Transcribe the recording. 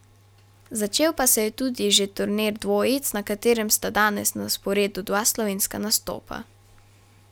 Začel pa se je tudi že turnir dvojic, na katerem sta danes na sporedu dva slovenska nastopa.